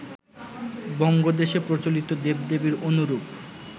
বঙ্গদেশে প্রচলিত দেব-দেবীর অনুরূপ